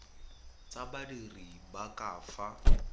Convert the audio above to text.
tsa badiri ba ka fa